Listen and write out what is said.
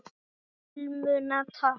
Filmuna takk!